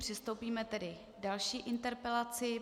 Přistoupíme tedy k další interpelaci.